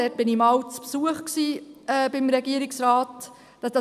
Dort war ich einmal beim Regierungsrat zu Besuch.